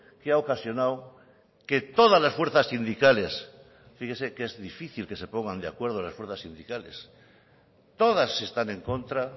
que ha ocasionado que todas las fuerzas sindicales fíjese que es difícil que se pongan de acuerdo las fuerzas sindicales todas están en contra